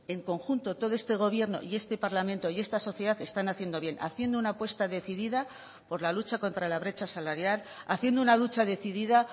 en conjunto todo este gobierno y este parlamento y esta sociedad están haciendo bien haciendo una apuesta decidida por la lucha contra la brecha salarial haciendo una lucha decidida